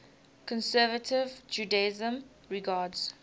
conservative judaism regards